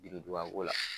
Biridugako la